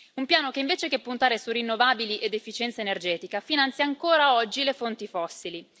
Un piano che invece che puntare su rinnovabili ed efficienza energetica finanzia ancora oggi le fonti fossili.